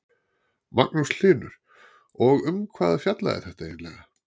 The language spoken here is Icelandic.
Magnús Hlynur: Og um hvað fjallaði þetta eiginlega?